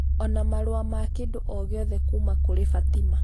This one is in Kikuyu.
ona marũa ma kĩndũ o gĩothe kuuma kũrĩ Fatima